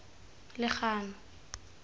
legano